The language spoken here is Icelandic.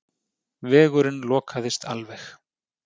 Vegurinn lokaðist alveg.